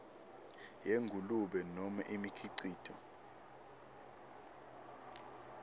yengulube nobe imikhicito